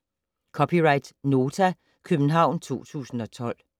(c) Nota, København 2012